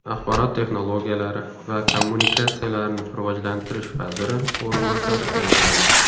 Axborot texnologiyalari va kommunikatsiyalarini rivojlantirish vaziri o‘rinbosari tayinlandi.